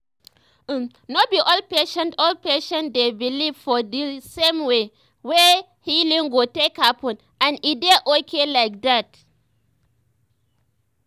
um no be all patients all patients dey um believe for di same way wey um healing go take happen and e dey okay like dat.